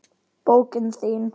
Bókin þín,